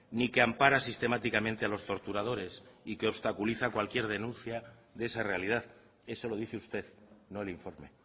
ni que ampara sistemáticamente a los torturadores y que obstaculiza cualquier denuncia de esa realidad eso lo dice usted no el informe